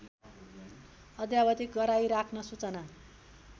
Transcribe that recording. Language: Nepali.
अद्यावधिक गराइराख्न सूचना